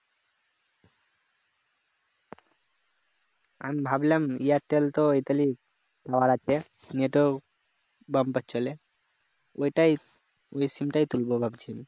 আমি ভাবলাম airtel তো net ও বাম্পার চলে ওইটাই ওই sim টাই তুলব ভাবছিআমি